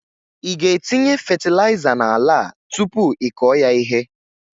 Ị ga etinye fetịlaịza na ala a tupu ị kọọ ya ihe?